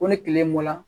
Ko ni tile bɔra